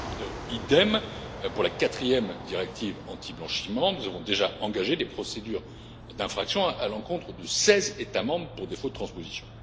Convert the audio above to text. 3. Idem pour la quatrième directive antiblanchiment nous avons déjà engagé des procédures d'infraction à l'encontre de 16 États membres pour défaut de transposition.